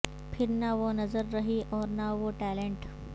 پھر نہ وہ نظر رہی اور نہ وہ ٹیلنٹ